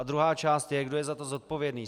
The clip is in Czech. A druhá část je, kdo je za to zodpovědný.